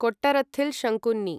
Kottarathil Sankunni